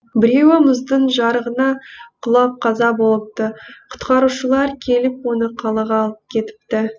біреуі мұздың жарығына құлап қаза болыпты құтқарушылар келіп оны қалаға алып кетіпті